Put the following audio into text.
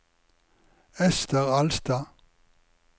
Esther Alstad